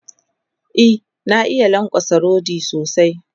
E, na iya lankwatsa rodi sosai.